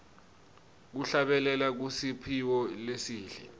kuhlabelela kusiphiwo lesihle